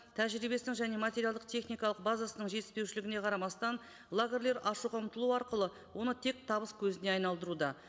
тәжірибесінің және материалдық техникалық базысының жетіспеушілігіне қарамастан лагерлер ашуға ұмтылу арқылы оны тек табыс көзіне айналдыруда